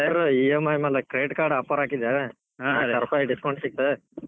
better EMI ಮ್ಯಾಲ್ credit card offer ಹಾಕಿದೆ ಇಪ್ಪತ್ತಾರ್ ಸಾವಿರ ರೂಪಾಯಿಕ್ discount ಸಿಕ್ತ್